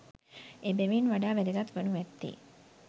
එබැවින් වඩා වැදගත් වනු ඇත්තේ